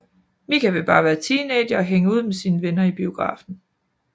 Mika vil bare være teenager og hænge ud med sine venner i biografen